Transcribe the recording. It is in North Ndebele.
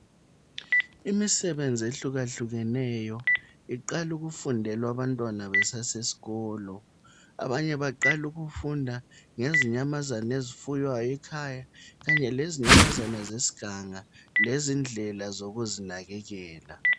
Imisebenzi ehluka hlukeneyo iqala ukufundelwa abantwana besasesikolo. Abanye baqala ukufunda ngezinyamazana ezifuywayo ekhaya kanye lezinyamazane zesiganga lezindlela zokuzinakekela.